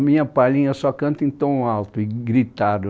A minha palhinha só canta em tom alto e gritado.